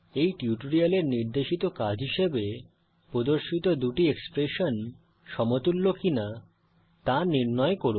এই টিউটোরিয়ালের নির্দেশিত কাজ হিসাবে প্রদর্শিত দুটি এক্সপ্রেশন সমতুল্য কি নয় তা নির্ণয় করুন